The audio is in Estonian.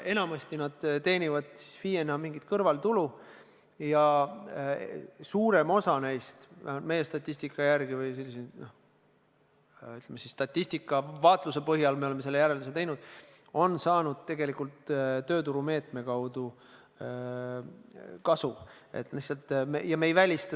Enamasti nad teenivad FIE-na mingit kõrvaltulu ja suurem osa neist – vähemalt meie statistika järgi või, ütleme siis, statistilise vaatluse põhjal me oleme selle järelduse teinud – on tegelikult tööturumeetme kaudu kasu saanud.